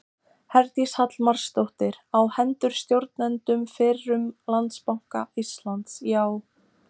Herdís Hallmarsdóttir: Á hendur stjórnendum fyrrum Landsbanka Íslands, já?